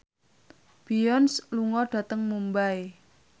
Beyonce lunga dhateng Mumbai